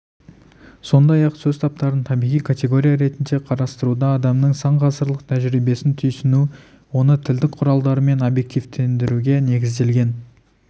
сондай-ақ сөз таптарын табиғи категория ретінде қарастыруда адамның сан ғасырлық тәжірибесін түйсіну оны тілдік құралдармен объективтендіруге негізделген